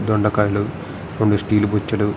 దొండకాయలు రెండు స్టీల్ కుర్చీలు --